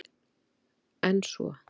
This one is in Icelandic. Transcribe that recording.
En svo?